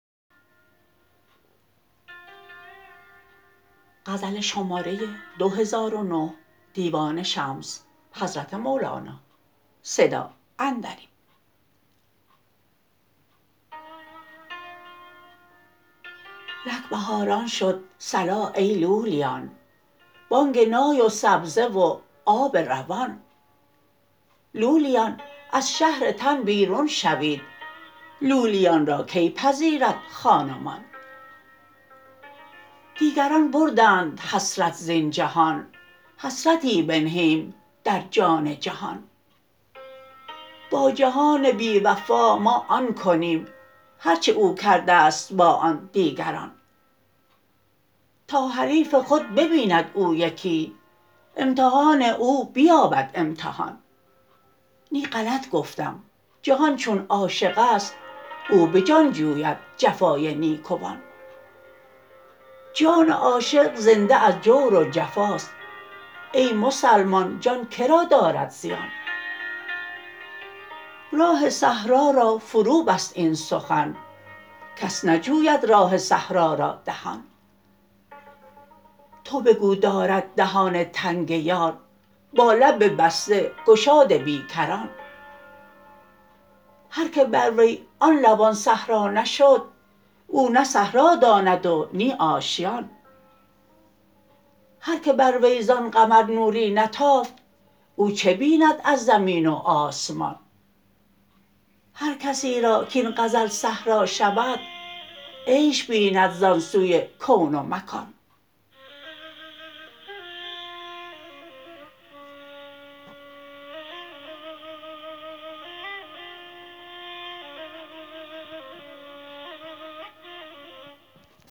نک بهاران شد صلا ای لولیان بانگ نای و سبزه و آب روان لولیان از شهر تن بیرون شوید لولیان را کی پذیرد خان و مان دیگران بردند حسرت زین جهان حسرتی بنهیم در جان جهان با جهان بی وفا ما آن کنیم هرچ او کرده ست با آن دیگران تا حریف خود ببیند او یکی امتحان او بیابد امتحان نی غلط گفتم جهان چون عاشق است او به جان جوید جفای نیکوان جان عاشق زنده از جور و جفاست ای مسلمان جان که را دارد زیان راه صحرا را فروبست این سخن کس نجوید راه صحرا را دهان تو بگو دارد دهان تنگ یار با لب بسته گشاد بی کران هر که بر وی آن لبان صحرا نشد او نه صحرا داند و نی آشیان هر که بر وی زان قمر نوری نتافت او چه بیند از زمین و آسمان هر کسی را کاین غزل صحرا شود عیش بیند زان سوی کون و مکان